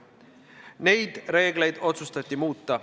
Neid reegleid otsustati muuta.